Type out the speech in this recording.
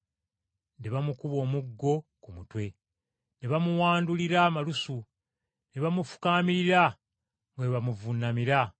Ne bamukuba omuggo ku mutwe, ne bamuwandulira amalusu, ne bamufukaamirira nga bwe bamuvuunamira.